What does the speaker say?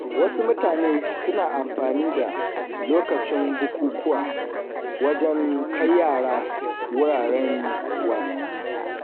Wasu mutane suna amfani da lokacin bukukuwa wajen kai yara wuraren wasanni.